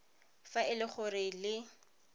fa e le gore le